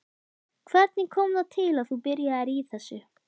Hvernig kom það til að þú byrjaðir í þessu?